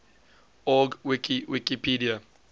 org wiki wikipedia